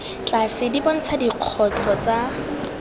tlase di bontsha ditlhogo tsa